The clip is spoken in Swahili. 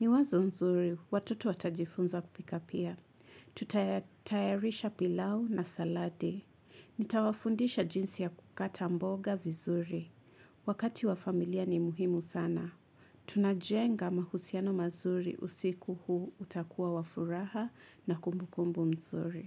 Ni wazo nzuri, watoto watajifunza kupika pia. Tutayarisha pilau na salati. Nita wafundisha jinsi ya kukata mboga vizuri. Wakati wa familia ni muhimu sana. Tunajenga mahusiano mazuri usiku huu utakuwa wafuraha na kumbu kumbu mzuri.